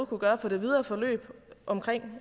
kunne gøre for det videre forløb omkring